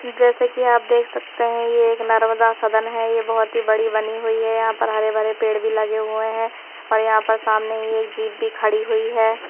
जैसे कि आप देख सकते हैं ये एक नर्मदा सदन हैं ये बहुत ही बड़ी बनी हुई हैं यहाँ पर हरे भरे पेड़ भी लगे हुए हैं और यहाँ पर सामने ही एक जीभ भी खड़ी हुई हैं।